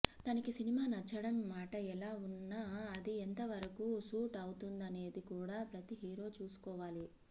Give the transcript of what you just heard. తనకి సినిమా నచ్చడం మాట ఎలా ఉన్నా అది ఎంత వరకు సూట్ అవుతుందనేది కూడా ప్రతి హీరో చూసుకోవాలి